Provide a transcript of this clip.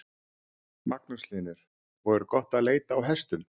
Magnús Hlynur: Og er gott að leita á hestum?